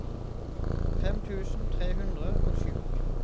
fem tusen tre hundre og sju